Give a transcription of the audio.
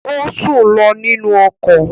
Ó sùn lọ nínú ọkọ̀